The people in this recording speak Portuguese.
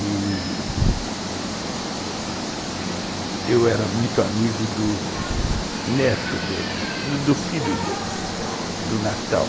E eu era muito amigo do neto deles, do filho deles, do Natal.